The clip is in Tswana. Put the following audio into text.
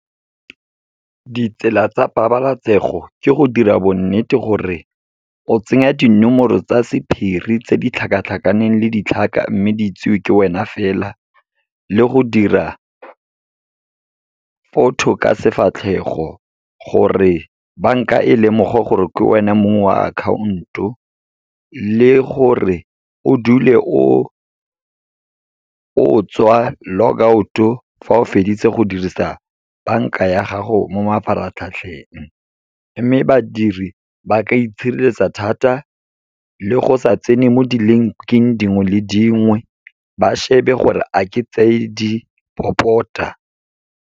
Ditsela tsa pabalatsego, ke go dira bonnete gore o tsenya dinomoro tsa sephiri tse di tlhakatlhakaneng le ditlhaka mme di itsewe ke wena fela. Le go dira photo ka sefatlhego gore banka e lemoge gore ke wena mong wa akhaonto, le gore o dule o tswa, logout-o, fa o feditse go dirisa banka ya gago mo mafaratlhatlheng. Mme badiri ba ka itshireletsa thata, le go sa tsene mo di-link-ing dingwe le dingwe, ba shebe gore a ke tse di popota.